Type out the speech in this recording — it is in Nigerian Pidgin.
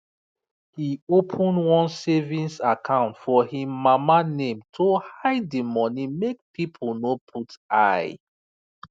he open one savings account for him mama name to hide the money make people no put eye